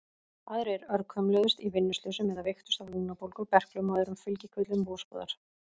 Aðrir örkumluðust í vinnuslysum eða veiktust af lungnabólgu, berklum og öðrum fylgikvillum vosbúðar.